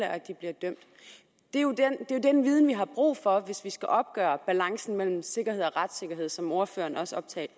at de bliver dømt det er jo den viden vi har brug for mener jeg hvis vi skal opgøre balancen mellem sikkerhed og retssikkerhed som ordføreren også